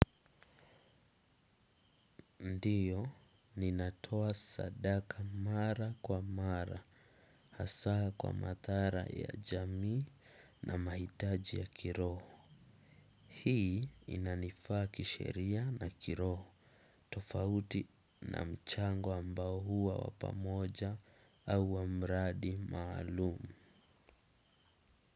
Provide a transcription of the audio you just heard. Ndiyo, ninatoa sadaka mara kwa mara, hasaa kwa matara ya jamii na maitaji ya kiroho. Hii inanifaa kisheria na kiroho, tofauti na mchango ambao huwa wa pamoja au wa mradi maalumu.